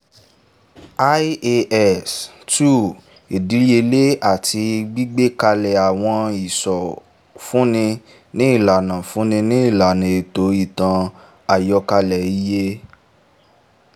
ias- two ìdíyelé àti gbígbé kalẹ̀ àwọn ìsọ fúnni ní ìlànà fúnni ní ìlànà ètò ìtàn- àkọ́ọ́lẹ iye